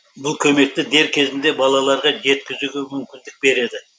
бұл көмекті дер кезінде балаларға жеткізуге мүмкіндік береді